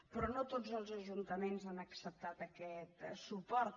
però no tots els ajuntaments han acceptat aquest suport